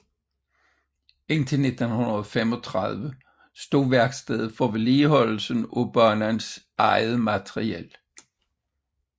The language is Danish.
Indtil 1935 stod værkstedet for vedligeholdelsen af banens eget materiel